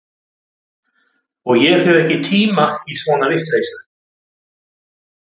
Og ég hef ekki tíma í svona vitleysu